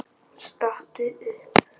Stattu upp!